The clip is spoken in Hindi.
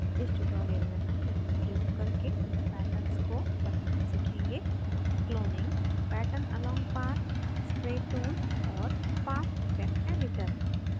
इस tutorial में हम निम्न प्रयोग करके patterns को बनाना सीखेंगे